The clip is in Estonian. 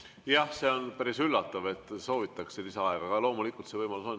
Jah, see on päris üllatav, et soovitakse lisaaega, aga loomulikult see võimalus on.